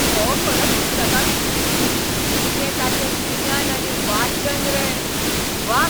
हो खरो पुस्तकां विकपी. कितें ताचें गिन्यान आनी वाचन रे. व्वा!